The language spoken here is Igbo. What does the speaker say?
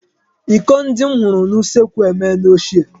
Iko ndi m hụrụ n'usekwu emeela ochie.